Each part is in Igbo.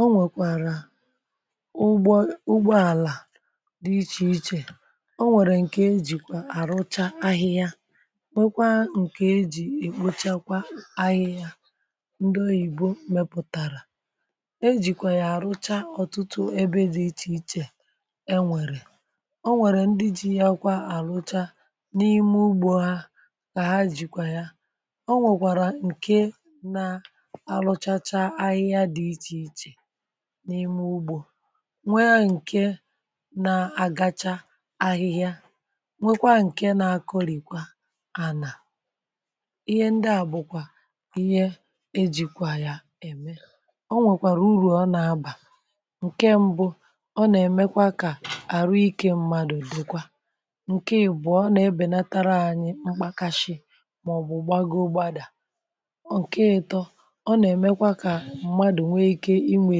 o nwekwara ugbo ala di iche iche o nwere nke ejikwa arụcha ahịhịa wekwaa nke e ji ikpochakwa ahịhịa ndị oyibo meputara ejikwa ya arụcha ọtụtụ ebe di iche iche e nwere o nwere ndi ji akwa arụcha n’ime ugbo ha ka ha jikwa ya n’ime ugbȯ nwekwara ǹke na-aruchacha ahịhịa di iche iche n'ime ugbo nwee nke n'agacha ahihia nwekwaa ǹke n’akọ̇rị̀kwa anà ihe ndị à bụ̀kwà ihe ejìkwà ya ème ọ nwèkwàrà urù ọ nà-abà ǹke mbụ ọ nà-èmekwa kà àrụ ikė mmadụ̀ dị̀kwà ǹke bụ̀ ọ nà-ebènatara anyị mgbàkashi màọ̀bụ̀ gbagoro gbadàa nke ito o na emekwa ka mmadụ nwee ike inwė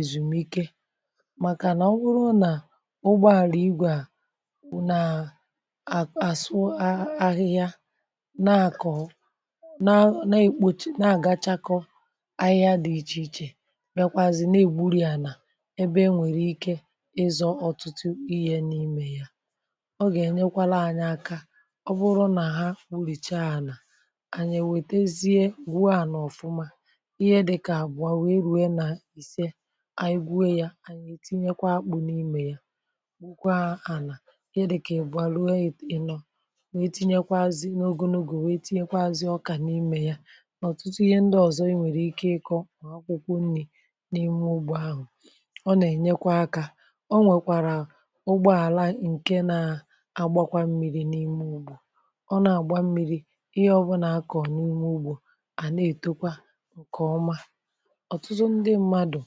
èzùmike màkànà ọ bụrụ nà ụgbọàlà igwè a bụ nàà àsụ ahịhịa na-àkọ̀ um na-àgachakọ ahịhịa dị ichè ichè mekwazị na-egburì a nà ebe enwèrè ike ịzọ̇ ọ̀tụtụ ihė n’imė ya ọ gà-ènyekwala anyị aka ọ bụrụ nà ha kpụrìchaa ànà ànyè nwètezie gwụà ana ọ̀fụma ihe dika akwa wee rue na ise egwue ya ètinyekwa akpụ̇ n’imė ya gwụ̀kwa ana ihe dika ibuo ruo ino wee tinyekwaazị̀ n’ogunogù wee tinyekwaazị̀ ọkà n’imė ya n’ọ̀tụtụ ihe ndị ọ̀zọ i nwèrè ike ịkọ̇ n’akwụkwọ nri̇ n’ime ụgbọ ahụ̀ ọ nà-ènyekwa akȧ ọ nwèkwàrà ụgbọ àla ǹke na-agbakwa mmiri̇ n’ime ụgbọ̀ ọ nà-àgba mmiri̇ ihe ọbụnà akọ̀ n’ime ụgbọ̀ à nà-ètokwa ǹkè ọma otutu ndi mmadu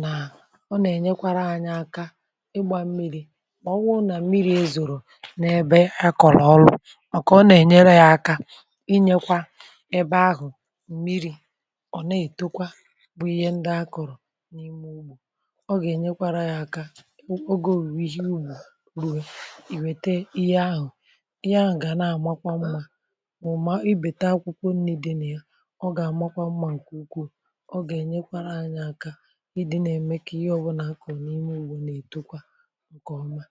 nà ọ nà-ènyekwara anyị aka ịgbȧ mmiri̇ ọ bụ nà mmiri̇ ezòrò n’ebe akọ̀la ọrụ̇ ọ̀ kà ọ nà-ènyere ya aka inyekwa ebe ahụ̀ mmiri̇ ọ̀ na-ètekwa bụ ihe ndị akọ̀rọ̀ n’ime ugbȯ ọ gà-ènyekwara ya aka ogė òwùwè ihe ugbȯ ìwète ihe ahụ̀ ihe ahụ̀ gà na-àmakwa mmȧ mụ̀ma i bèta akwụkwọ nni dì na ya ọ gà-àmakwa mmȧ ǹkè ukwuù o ga enyekwara anyi aka idi na eme ka ihe ọbụlà akọ̀ n’ime ugbò na-ètokwa ǹkè ọma